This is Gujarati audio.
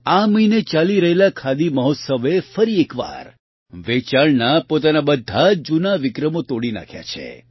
આ મહિને ચાલી રહેલા ખાદી મહોત્સવે ફરી એક વાર વેચાણના પોતાના બધા જ જૂના વિક્રમો તોડી નાંખ્યા છે